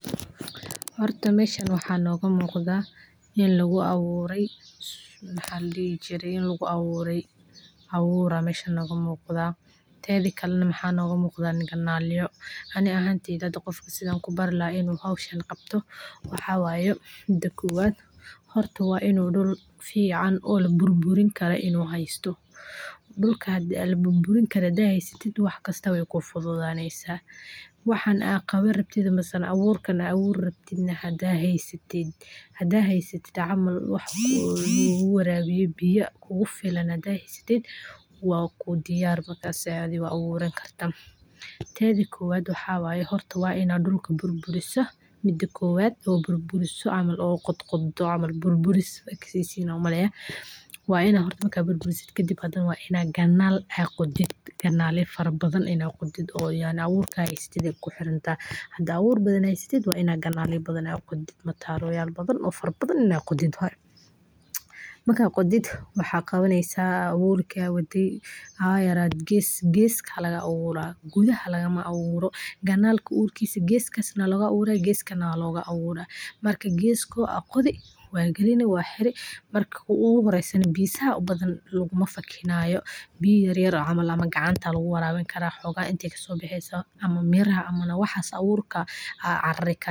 Horta meeshan waxa noqu muqtaa in lakuaaburey maxa ladixijirey abuura aya meeshan noqumuqtaa, teedhakale maxa noqu muqtaa ninka naaleyo, anigaa maxa kubarila qofka inuu howshan qabto maxawaye mida kowaad horta waa inuu dhul fiican oo laburburinkarin inuu heysto, dhul laburburinkarin hadaad heysatid waxkasta way kufududaynanin, waxan aad kabanrabtid ama abuureysid hadaad heysatid oo warabisit biya waa diyar, teeda kowaad waa ina dhulka burburisa kadibna waina kanal qotiid sii aa biyaha kukudeegan, kanalka waa ina dinacyaha oo kuqotaa sii biyaha aay uu karan abuurka.